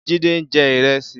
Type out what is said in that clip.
Jide n jè irèsí